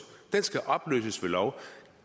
den skal opløses ved lov